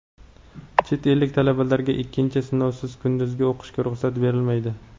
Chet ellik talabalarga ikkinchi sinovsiz kunduzgi o‘qishga ruxsat berilmaydi.